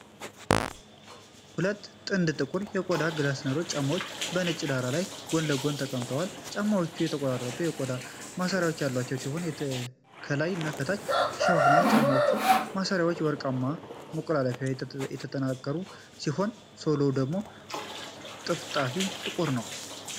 ሁለት ጥንድ ጥቁር የቆዳ ግላዲያተር ጫማዎች በነጭ ዳራ ላይ ጎን ለጎን ተቀምጠዋል። ጫማዎቹ የተቆራረጡ የቆዳ ማሰሪያዎች ያሏቸው ሲሆን፣ ከላይ እስከ ታች ይሸፍናሉ። የጫማዎቹ ማሰሪያዎች በወርቃማ መቆለፊያዎች የተጠናከሩ ሲሆን፣ ሶሎው ደግሞ ጠፍጣፋና ጥቁር ነው።